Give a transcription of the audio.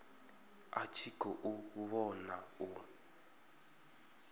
a tshi khou vhona u